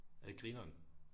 Er det grineren